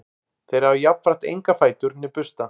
þeir hafa jafnframt enga fætur né bursta